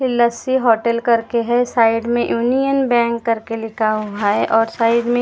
लस्सी hotel करके है side में यूनियन बैंक करके लिखा हुआ है और साइड में यूनियन ।